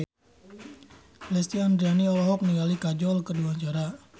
Lesti Andryani olohok ningali Kajol keur diwawancara